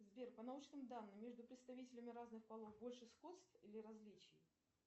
сбер по научным данным между представителями разных полов больше сходств или различий